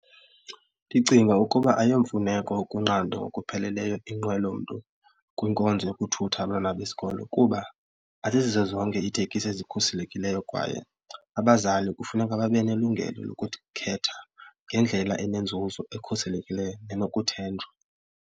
Ndicinga ukuba ayomfuneko ukunqandwa ngokupheleleyo iinqwelo mntu kwinkonzo yokuthutha abantwana besikolo kuba azizizo zonke itekisi ezikhuselekileyo kwaye abazali kufuneka babe nelungelo lokuthi khetha ngendlela enenzuzo ekhuselekileyo enokuthenjwa.